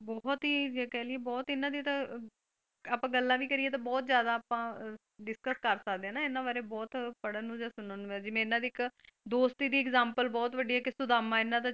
ਬਹੁਤ ਹੀ ਜੇ ਕਹੀਏ ਬਹੁਤ ਇਹਨਾਂ ਦੇ ਤਾਂ ਅਹ ਆਪਾਂ ਗੱਲਾਂ ਵੀ ਕਰੀਏ ਤਾਂ ਬਹੁਤ ਜਾਦਾ ਆਪਾਂ ਡਿਸਕਸ ਕਰ ਸਕਦੇ ਹੇਨਾ ਆਪਾਂ ਏਨਾ ਵਾਰੇ ਬਹੁਤ ਪੱੜਨ ਨੂੰ ਜਾਂ ਸੁਣਨ ਨੂੰ ਜਿਵੇਂ ਇਹਨਾਂ ਦੀ ਇੱਕ ਦੋਸਤੀ ਦੀ ਇਗਜਾਮਪਲ ਬਹੁਤ ਵੱਡੀ ਹੈ, ਇੱਕ ਸੁਦਾਮਾ ਇਹਨਾਂ ਦਾ,